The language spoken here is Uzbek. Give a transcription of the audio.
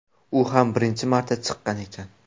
U ham birinchi marta chiqqan ekan.